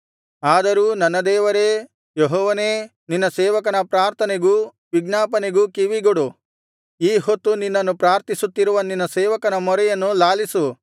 ಆದರೂ ನನ್ನ ದೇವರೇ ಯೆಹೋವನೇ ನಿನ್ನ ಸೇವಕನ ಪ್ರಾರ್ಥನೆಗೂ ವಿಜ್ಞಾಪನೆಗೂ ಕಿವಿಗೊಡು ಈ ಹೊತ್ತು ನಿನ್ನನ್ನು ಪ್ರಾರ್ಥಿಸುತ್ತಿರುವ ನಿನ್ನ ಸೇವಕನ ಮೊರೆಯನ್ನು ಲಾಲಿಸು